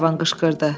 Glenarvan qışqırdı.